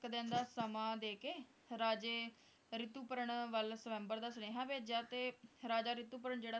ਇੱਕ ਦਿਨ ਦਾ ਸਮਾਂ ਦੇਕੇ ਰਾਜੇ ਰਿਤੁਪਰਣਾ ਵੱਲ ਸ੍ਵਯੰਬਰ ਦਾ ਸੁਨੇਹਾ ਭੇਜਿਆ ਤੇ ਰਿਤੁਪਰਣ ਜਿਹੜਾ